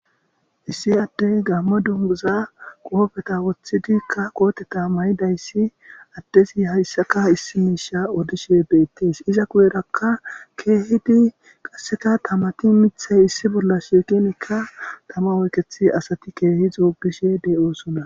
Issi addey gammo dunguza qoofeta woththidikka qooteta mayidayssi addezi hayssaka issi miisha odishe beettees iza kuyerakka keehidi qasseka tamati mithey issi bolla shiiqenekka tama oykethi asati keehi xuugishe de'oosona